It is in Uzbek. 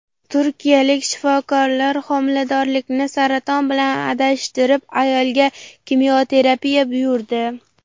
Turkiyalik shifokorlar homiladorlikni saraton bilan adashtirib, ayolga kimyoterapiya buyurdi.